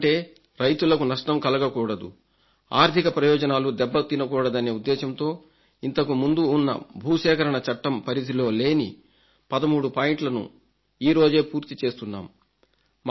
ఎందుకంటే రైతులకు నష్టం కలగకూడదు ఆర్థిక ప్రయోజనాలు దెబ్బతినకూడదనే ఉద్దేశంతో ఇంతకుముందు ఉన్న భూసేకరణ చట్టం పరిధిలో లేని 13 పాయింట్లను ఈరోజే పూర్తి చేస్తున్నాం